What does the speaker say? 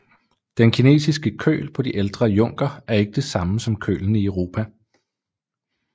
Den kinesiske køl på de ældre junker er ikke det samme som kølen i Europa